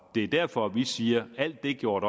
er derfor vi siger at alt det gjort